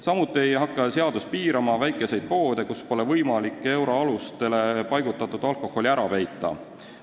Samuti ei hakka seadus piirama väikeste poodide tegevust, kus pole võimalik euroalustele paigutatud alkoholi ära peita.